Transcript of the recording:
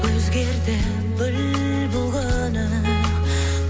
өзгерді гүл бұл күні